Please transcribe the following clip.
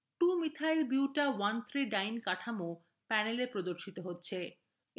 2methylbuta13diene কাঠামো panel এ প্রদর্শিত হচ্ছে